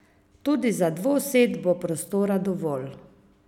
Tudi za dvosed bo prostora dovolj.